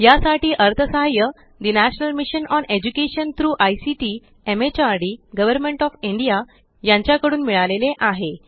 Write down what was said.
यासाठी अर्थसहाय्य the national mission on education through ICT MHRD government of India कडून मिळाले आहे